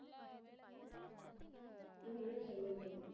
இல்ல ஏன் silent ஆயிருச்சு.